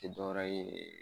Iti dɔwɛrɛ ye